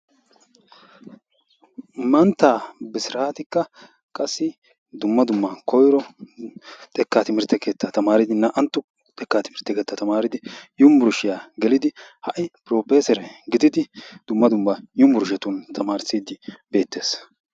Mantta Bisrattika qassi dumm dumma koyro xekka timirtte keetta tamaaridi naa''antto xekka timirttiya tamaaridi yunbbersttiya gelidi hai propeesere gididi dumma dumma yunbberesttetun tamaarssidi beettees.